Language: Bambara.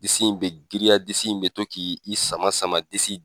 Disi in bɛ girinya, disi in bɛ to k' i i sama sama disi in